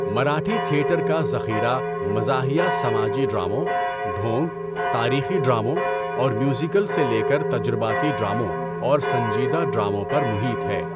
Marathi theatre کا ذخیرہ مزاحیہ سماجی ڈراموں، ڈھونگ، تاریخی ڈراموں، اور میوزیکل سے لے کر تجرباتی ڈراموں اور سنجیدہ ڈراموں پر محیط ہے۔